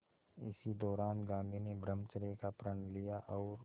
इसी दौरान गांधी ने ब्रह्मचर्य का प्रण लिया और